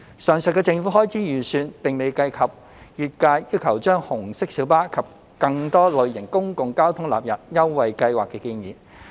上述的政府開支預算並未計及業界要求將紅色小巴及更多類型的公共交通工具納入優惠計劃的建議。